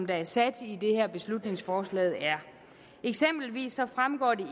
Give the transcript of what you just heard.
der er sat i beslutningsforslaget eksempelvis fremgår det